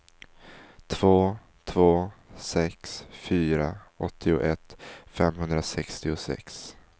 två två sex fyra åttioett femhundrasextiosex